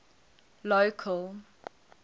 local